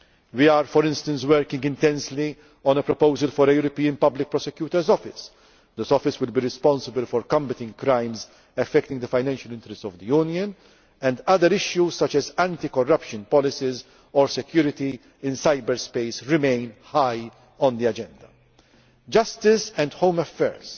are still important tasks to achieve. We are, for instance, working intensely on a proposal for a European Public Prosecutors Office, which would be responsible for combating crimes affecting the financial interests of the Union, and other issues such as anti corruption policies or security in cyber space remain high on